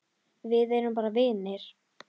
Við erum bara vinir.